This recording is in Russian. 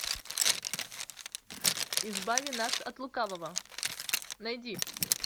избави нас от лукавого найди